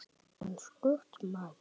Eins gott, maður minn